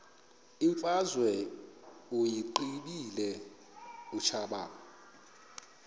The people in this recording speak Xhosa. imfazwe uyiqibile utshaba